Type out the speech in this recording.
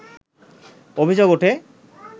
অভিযোগ ওঠে